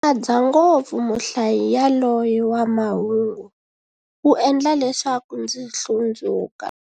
Ndzi nyadza ngopfu muhlayi yaloye wa mahungu, u endla leswaku ndzi hlundzuka.